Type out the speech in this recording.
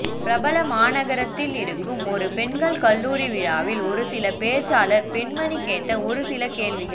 பிரபல மாநகரத்தில் இருக்கும் ஒரு பெண்கள் கல்லூரி விழாவில் ஒரு சில பேச்சாளர் பெண்மணி கேட்ட ஒரு சில கேள்விகள்